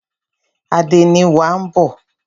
Àdénì wa ń bọ̀.